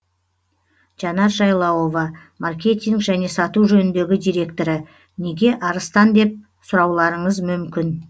жанар жайлауова маркетинг және сату жөніндегі директоры неге арыстан деп сұрауларыңыз мүмкін